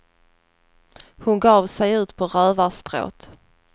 Hon gav sig ut på rövarstråt.